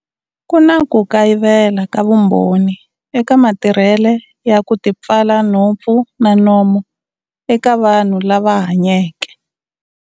Ku na ku kayivela ka vumbhoni eka matirhele ya ku tipfala nhompfu na nomo ka vanhu lava hanyeke.